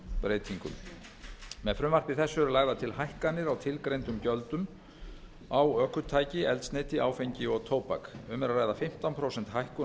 breytingum með frumvarpi þessu eru lagðar til hækkanir á tilgreindum gjöldum á ökutæki eldsneyti áfengi og tóbak um er að ræða fimmtán prósenta hækkun á